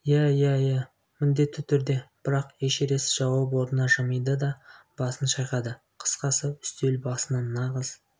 иә иә иә міндетті түрде бірақ эшерест жауап орнына жымиды да басын шайқады қысқасы үстел басынан нағыз